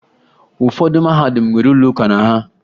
Ụfọdụ mahadum nwere ụlọ ụka na ha